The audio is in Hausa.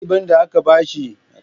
Ɗaliban da aka bawa muƙamai ana girmama su